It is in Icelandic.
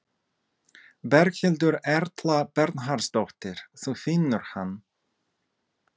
Berghildur Erla Bernharðsdóttir: Þú finnur hann?